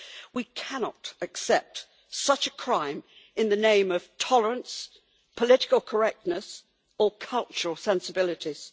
We cannot accept such a crime in the name of tolerance, political correctness or cultural sensibilities.